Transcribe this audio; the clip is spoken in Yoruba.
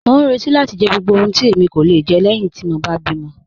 Mọ n rẹti láti jẹ gbogbo ohun tí èmi kò le jẹ lẹ́ẹ̀hin ti mọ bá bí mọ̀.